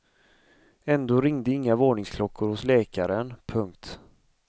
Ändå ringde inga varningsklockor hos läkaren. punkt